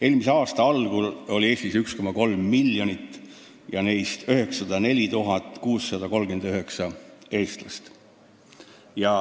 Eelmise aasta algul oli Eestis 1,3 miljonit inimest, neist 904 639 eestlast.